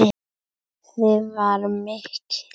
Gleðin var mikil.